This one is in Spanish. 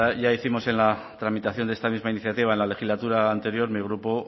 ya hicimos en la tramitación de esta misma iniciativa en la legislatura anterior mi grupo